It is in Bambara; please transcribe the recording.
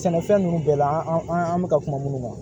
Sɛnɛfɛn ninnu bɛɛ la an an an bɛ ka kuma minnu kan